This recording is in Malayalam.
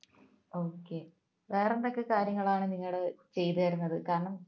okay വേറെ എന്തൊക്കെ കാര്യങ്ങളാണ് നിങ്ങൾ ചെയ്തു തരുന്നത് കാരണം